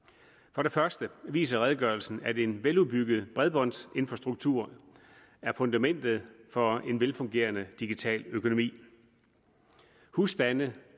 for det første viser redegørelsen at en veludbygget bredbåndsinfrastruktur er fundamentet for en velfungerende digital økonomi husstande